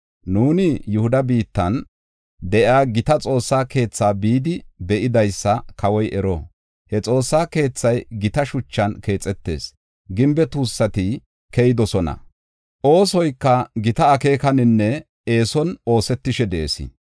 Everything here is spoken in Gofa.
Nuuni Yihuda biittan de7iya gita Xoossaa keetha bidi be7idaysa kawoy ero. He Xoossa keethay gita shuchan keexetis; gimbe tuussati keyidosona; oosoyka gita akeekaninne eeson oosetishe de7ees.